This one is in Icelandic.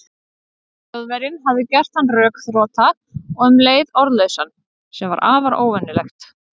Þjóðverjinn hafði gert hann rökþrota og um leið orðlausan, sem var afar óvenjulegt.